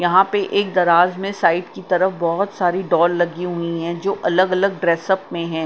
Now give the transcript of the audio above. यहां पे एक दराज़ में साइड की तरफ बहोत सारी डॉल लगी हुई है जो अलग-अलग ड्रेसअप में हैं .